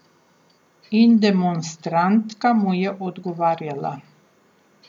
In demonstrantka mu je odgovarjala.